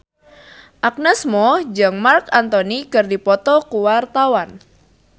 Agnes Mo jeung Marc Anthony keur dipoto ku wartawan